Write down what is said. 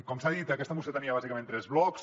com s’ha dit aquesta moció tenia bàsicament tres blocs